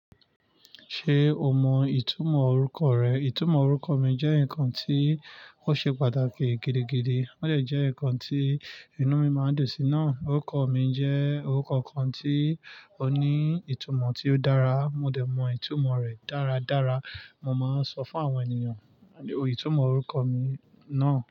Ṣe o mọ itumọ orukọ rẹ? Itumọ orukọ mi jẹ nkan ti o ṣe pàtàkì gidigidi, ode jẹ nkan ti inú mi máa n dùn sí. Na orukọ mi jẹ orukọ kan ti o ni itumọ ti o dara, mo dẹ̀ mọ itumọ rẹ̀ dáradára. Mo máa n sọ fún àwọn ènìyàn itumọ orukọ mi náà.